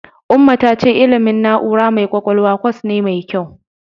Umma ta ce ilimin na'ura mai ƙwaƙwalwa kwas ne mai kyau.